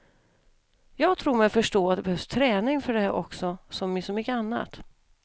Jag tror mig förstå att det behövs träning för det också, som i så mycket annat.